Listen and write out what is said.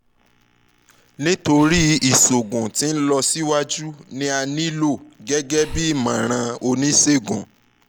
nitorina iṣoogun ti nlọsiwaju ni a nilo gẹgẹbi imọran onisegun